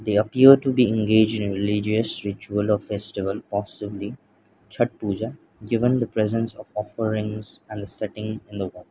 they appear to be engaged in religious ritual or festival of possibly chhat puja given the presence of offerings and the setting in the wa --